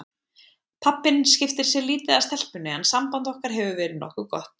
Pabbinn skiptir sér lítið af stelpunni en samband okkar hefur verið nokkuð gott.